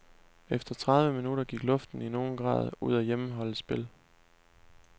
Efter tredive minutter gik luften i nogen grad ud af hjemmeholdets spil.